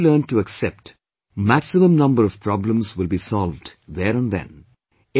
Once you learn to accept, maximum number of problems will be solved there and then